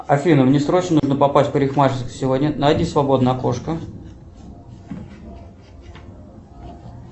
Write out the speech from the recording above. афина мне срочно нужно попасть в парикмахерскую сегодня найди свободное окошко